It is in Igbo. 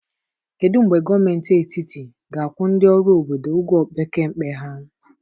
Kedu mgbe gọọmentị etiti ga-akwụ ndị ọrụ obodo ụgwọ opekempe ha?